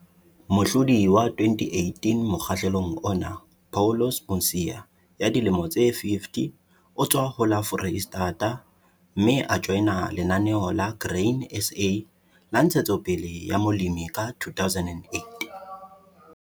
Mohlodi wa 2018 mokgahlelong ona, Paulus Mosia, 50, o tswa ho la Foreisetata, mme a joina Lenaneo la Grain SA la Ntshetsopele ya Molemi ka 2008.